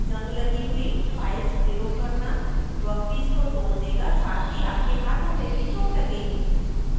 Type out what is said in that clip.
जंग लगी हुई फाइल्स प्रयोग करना वर्कपीस को तोड़ देगा साथ ही आपके हाथों में भी चोट लगेगी